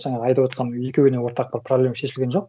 жанағы айтып отырған екеуіне ортақ бір проблема шешілген жоқ